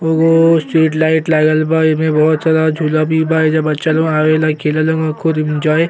ओगो seat light लागल बा। ऐमे बोहोत सारा झूला भी बा। एइजा बच्चा लो आवेला खेलेला एन्जॉय --